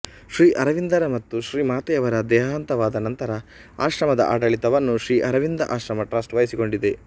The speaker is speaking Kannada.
ಶ್ರೀ ಅರವಿಂದರ ಮತ್ತು ಶ್ರೀ ಮಾತೆಯವರ ದೇಹಾಂತವಾದ ನಂತರ ಆಶ್ರಮದ ಆಡಳಿತವನ್ನು ಶ್ರೀ ಅರವಿಂದ ಆಶ್ರಮ ಟ್ರಸ್ಟ್ ವಹಿಸಿಕೊಂಡಿದೆ